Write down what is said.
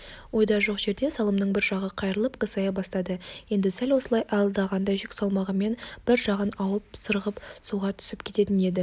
ойда жоқ жерде салымның бір жағы қайырлап қисая бастады енді сәл осылай аялдағанда жүк салмағымен бір жағына ауып сырғып суға түсіп кететін еді